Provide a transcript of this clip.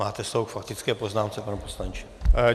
Máte slovo k faktické poznámce, pane poslanče.